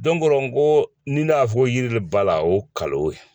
o rɔ n ko ni ne y'a fɔ yirili b'a la o ngalon ye